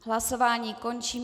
Hlasování končím.